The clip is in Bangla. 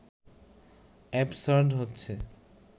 অ্যাবসার্ড হচ্ছে